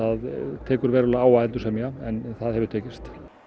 tekur verulega á að endursemja en það hefur tekist